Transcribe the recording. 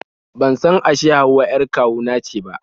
Ban san ashe Hauwa 'yar kawu na ce ba